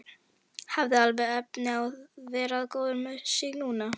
Hafði alveg efni á að vera góður með sig núna.